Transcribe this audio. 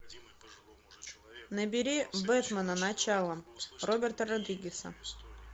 набери бэтмена начало роберта родригеса